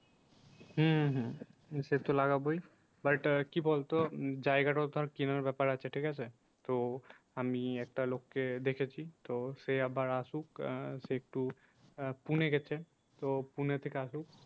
হম হম সে তো লাগাবোই। বা এটা কি বলতো জায়গাটাও ধর কেনার ব্যাপার আছে ঠিক আছে তো আমি একটা লোককে দেখেছি তো সে আবার আসুক আহ সে একটু আহ পুনে গেছে তো পুনে থেকে আসুক